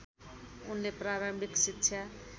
उनले प्रारम्भिक शिक्षा